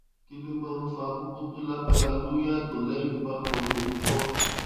kí ló máa ń fa koko tó lágbára lórí agbon lẹyìn tó bá kọlu oun ko